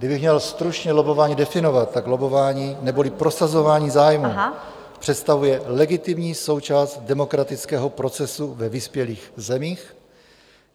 Kdybych měl stručně lobbování definovat, tak lobbování neboli prosazování zájmů představuje legitimní součást demokratického procesu ve vyspělých zemích.